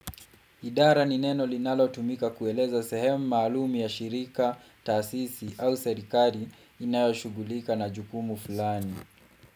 Idara ni neno linalo tumika kueleza sehemu maalum ya shirika, taasisi au serikali inayoshugulika na jukumu fulani.